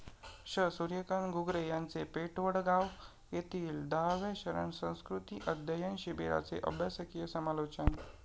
श. सुर्यकांत घुगरे यांचे पेठवडगाव येथील दहाव्या शरण संस्कृती अध्यायन शिबीराचे अभ्यासकीय समालोचन